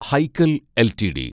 Hikal LTD